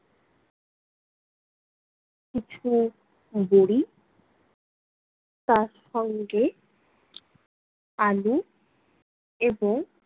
কিছু বড়ি তার সঙ্গে আলু এবং